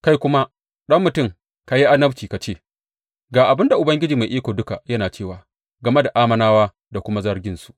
Kai kuma, ɗan mutum, ka yi annabci ka ce, Ga abin da Ubangiji Mai Iko Duka yana cewa game da Ammonawa da kuma zarginsu.